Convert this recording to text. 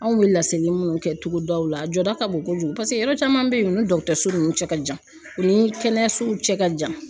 Anw bɛ laseli munnu kɛ togodaw la a jɔda ka bon kojugu paseke yɔrɔ caman bɛ yen u ni dɔgɔtɔrɔso nunnu cɛ ka jan, u ni kɛnɛyasow cɛ ka jan.